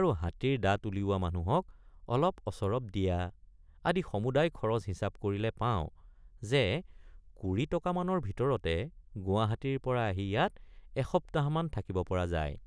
আৰু হাতীৰ দাঁত উলিওৱা মানুহক অলপঅচৰপ দিয়৷ আদি সমুদায় খৰচ হিচাপ কৰিলে পাওঁ যে কুৰি টকামানৰ ভিতৰতে গুৱাহাটীৰপৰা আহি ইয়াত এসপ্তাহমান থাকিব পৰা যায়।